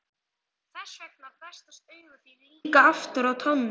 Þessvegna festast augu þín líka aftur á tánum.